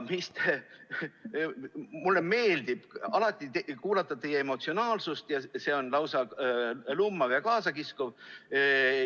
Mulle meeldib alati teie emotsionaalsus, see on lausa lummav ja kaasakiskuv.